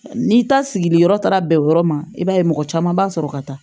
N'i ta sigili yɔrɔ taara bɛn o yɔrɔ ma i b'a ye mɔgɔ caman b'a sɔrɔ ka taa